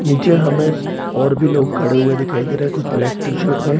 नीचे हमें और भी लोग खड़े हुए दिखाई देख रहे हैं कुछ ब्लैक टी-शर्ट में --